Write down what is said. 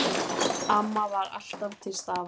Amma var alltaf til staðar.